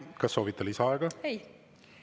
Kas soovite lisaaega?